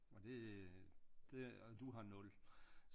Og det øh og du har 0